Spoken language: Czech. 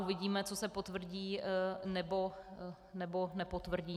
Uvidíme, co se potvrdí, nebo nepotvrdí.